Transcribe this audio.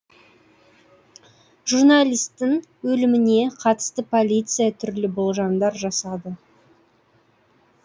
журналистің өліміне қатысты полиция түрлі болжамдар жасады